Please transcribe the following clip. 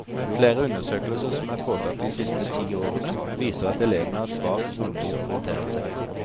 Flere undersøkelser som er foretatt de siste ti årene, viser at elevene har svak romlig orienteringsevne.